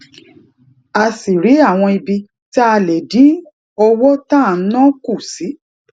a sì rí àwọn ibi tá a lè dín owó tá à ń ná kù sí